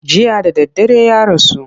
Jiya da daddare ya rasu.